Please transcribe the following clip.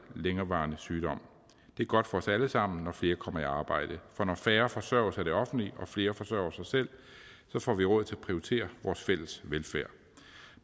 længerevarende sygdom det er godt for os alle sammen når flere kommer i arbejde for når færre forsørges af det offentlige og flere forsørger sig selv får vi råd til at prioritere vores fælles velfærd